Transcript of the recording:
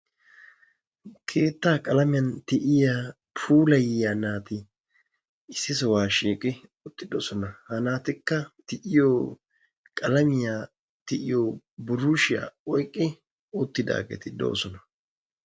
keettaa qalamiyaan tiyiyaa puulayiyaa naati issi sohuwaa shiiqidi uttidoosona. ha naatikka tiyiyoo qalamiyiyaa tiyiyoo buruushiyaa oyqqi uttidaageti de"osona.